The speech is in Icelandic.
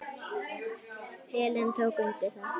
Helena tók undir það.